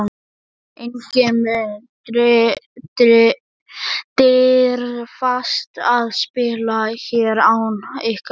Enginn mun dirfast að spila hér án ykkar leyfis.